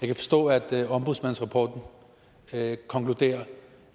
kan forstå at ombudsmandsrapporten konkluderer